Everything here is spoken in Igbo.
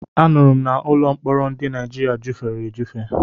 Anụrụ m na ụlọ mkpọrọ ndị Naịjirịa jufere ejufe.